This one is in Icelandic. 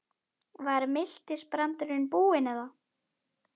Var miltisbrandurinn búinn eða?